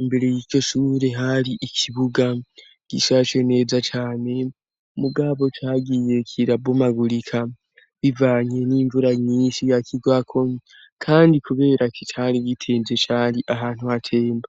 imbere y'iryo shure hari ikibuga gishace neza cane mugabo cagiye kirabomagurika bivanye n'imvura nyinshi yakigwako kandi kubera kitari bitenze cari ahantu hatemba